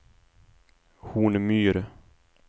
Hornmyr